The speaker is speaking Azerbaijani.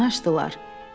Qapını açdılar.